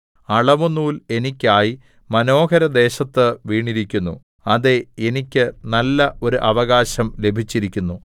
അളവുനൂൽ എനിക്കായി മനോഹരദേശത്ത് വീണിരിക്കുന്നു അതേ എനിക്ക് നല്ല ഒരു അവകാശം ലഭിച്ചിരിക്കുന്നു